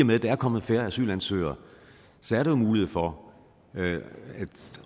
med der er kommet færre asylansøgere er der jo mulighed for